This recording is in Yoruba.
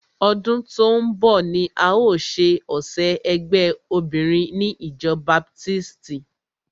Ọdún tó ń bọ̀ ni a o ṣe ọ̀sẹ̀ ẹgbé obinrin ni ìjọ baptisti.